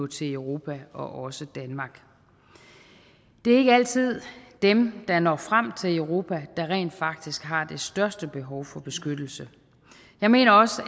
til europa og også danmark det er ikke altid dem der når frem til europa der rent faktisk har det største behov for beskyttelse jeg mener også